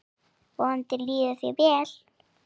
Vonandi líður þér vel.